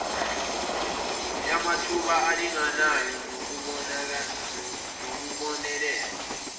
yamathuba alinganayo nokubonelelwa